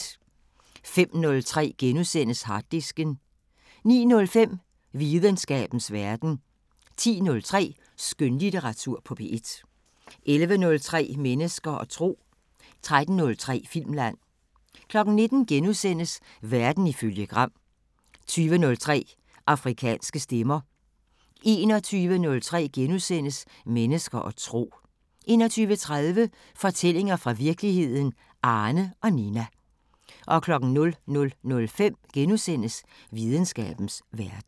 05:03: Harddisken * 09:05: Videnskabens Verden 10:03: Skønlitteratur på P1 11:03: Mennesker og tro 13:03: Filmland 19:00: Verden ifølge Gram * 20:03: Afrikanske Stemmer 21:03: Mennesker og tro * 21:30: Fortællinger fra virkeligheden – Arne og Nina 00:05: Videnskabens Verden *